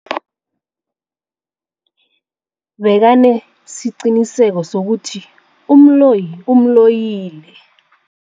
Bekanesiqiniseko sokuthi umloyi umloyile.